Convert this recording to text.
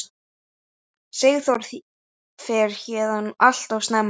Sigþór fer héðan alltof snemma.